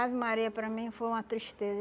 Ave Maria, para mim, foi uma tristeza.